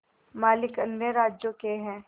मालिक अन्य राज्यों के हैं